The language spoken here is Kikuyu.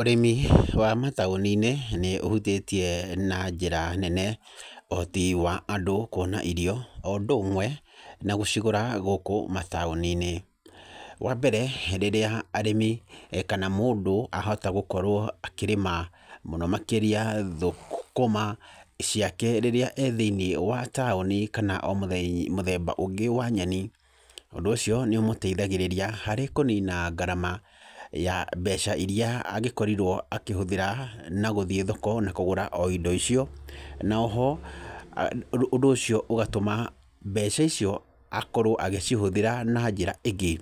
Ũrĩmi wa mataũni-inĩ nĩ ũhutĩtie na njĩra nene ũhoti wa andũ kuona irio o ũndũ ũmwe na gũcigũra gũkũ mataũni-inĩ. Wa mbere, rĩrĩa arĩmi kana mũndũ ahota gũkorwo akĩrĩma mũno makĩria thũkũma ciake rĩrĩa e thĩiniĩ wa taũni kana o mũthemba, mũthemba ũngĩ wa nyeni, ũndũ ũcio nĩ ũmũteithagĩrĩria harĩ kũnina ngarama ya mbeca iria angĩkorirwo akĩhũthĩra na gũthi thoko na kũgũra o indo icio, naoho ũndũ ũcio ũgatũma mbeca icio akorwo agĩcihũthĩra na njĩra ingĩ,